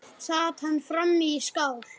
Sat hann frammi í skála.